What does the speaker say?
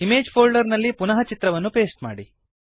image folder ನಲ್ಲಿ ಪುನಃ ಚಿತ್ರವನ್ನು ಪೇಸ್ಟ್ ಮಾಡಿ